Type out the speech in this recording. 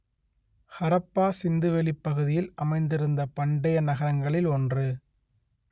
ஹரப்பா சிந்து வெளி பகுதியில் அமைந்திருந்த பண்டைய நகரங்களில் ஒன்று